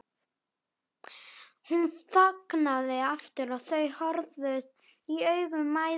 Hún þagnaði aftur og þau horfðust í augu mæðginin.